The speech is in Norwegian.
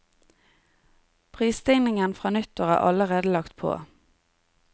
Prisstigningen fra nyttår er allerede lagt på.